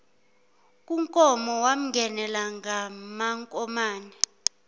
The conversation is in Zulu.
kunkomo wamngenela ngamankomane